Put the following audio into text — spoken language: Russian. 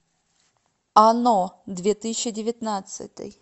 оно две тысячи девятнадцатый